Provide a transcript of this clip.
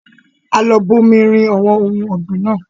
A lọ bù omi rìn àwọn ohun ọ̀gbìn naa